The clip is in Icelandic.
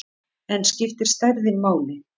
En skiptir stærðin máli?